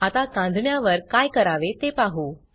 आता कांजिण्यावर काय करावे ते पाहू